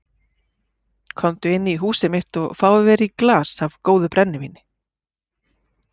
Komdu inn í húsið mitt og fáðu þér í glas af góðu brennivíni.